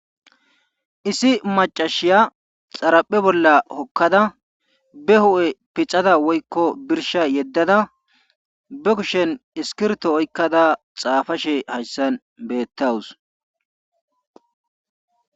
issi macashiya xaraphe bolla hokkada be hu7e pixada woykko birsha yeddada be kushen iskirto oykkada xaafashe hayssan beettawus